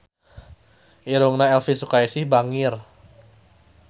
Irungna Elvi Sukaesih bangir